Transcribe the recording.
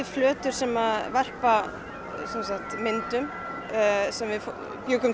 fletir sem varpa myndum sem við bjuggum